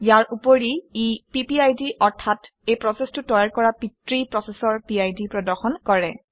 ইয়াৰ উপৰি ই পিপিআইডি অৰ্থাৎ এই প্ৰচেচটো তৈয়াৰ কৰা পিতৃ প্ৰচেচৰ পিড প্ৰদৰ্শন কৰে